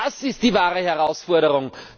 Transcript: Das ist die wahre Herausforderung!